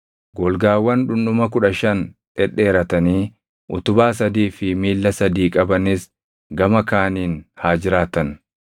Golgaawwan dhundhuma kudha shan dhedheeratanii utubaa sadii fi miilla sadii qabanis gama kaaniin haa jiraatan.